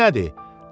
Fil nədir?